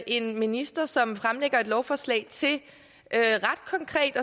en minister som fremsætter et lovforslag til at